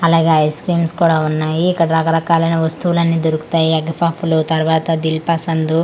అలాగే ice creams కూడా ఉన్నాయి ఇక్కడ రకరకాలైన వస్తువులన్నీ దొరుకుతాయి ఎగ్ ఫుఫ్ లు తర్వాత దిల్ పసందు--